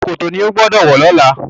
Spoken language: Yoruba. ṣòkòtò ní o gbódò wọ lọla!